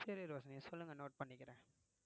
சரி ரோஷிணி நீங்க சொல்லுங்க note பண்ணிக்கறேன்